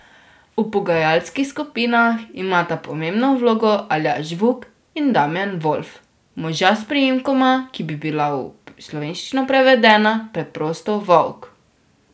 V pogajalskih skupinah imata pomembno vlogo Aljaž Vuk in Damjan Volf, moža s priimkoma, ki bi bila v slovenščino prevedena preprosto Volk.